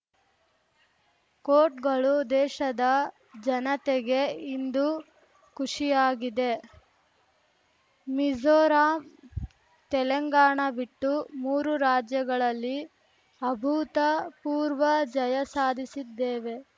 ಕೋಟ್‌ಗಳು ದೇಶದ ಜನತೆಗೆ ಇಂದು ಖುಷಿಯಾಗಿದೆ ಮಿಜೋರಾಂ ತೆಲಂಗಾಣ ಬಿಟ್ಟು ಮೂರು ರಾಜ್ಯಗಳಲ್ಲಿ ಅಭೂತಪೂರ್ವ ಜಯ ಸಾಧಿಸಿದ್ದೇವೆ